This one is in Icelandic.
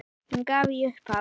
Hún gaf í upphafi